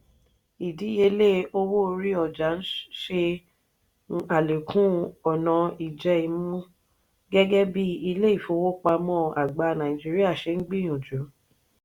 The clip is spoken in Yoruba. ìdíyelé owó orí ọjà ṣe n alekun ọna ijẹ-imu gẹgẹ bí ilé ìfowópamọ́ àgbà nàìjíríà ṣe n gbìyànjú.